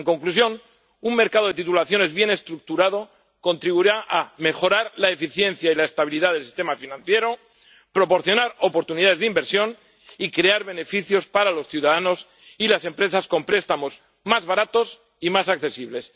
En conclusión, un mercado de titulizaciones bien estructurado contribuirá a mejorar la eficiencia y la estabilidad del sistema financiero, proporcionar oportunidades de inversión y crear beneficios para los ciudadanos y las empresas, con préstamos más baratos y más accesibles.